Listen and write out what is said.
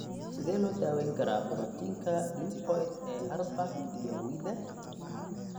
Sidee loo daweyn karaa borotiinka lipoid ee Urbach iyo Wiethe?